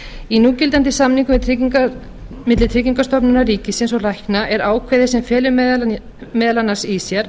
í núgildandi samningum milli tryggingastofnunar ríkisins og lækna er ákvæði sem felur meðal annars í sér